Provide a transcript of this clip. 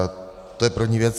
To je první věc.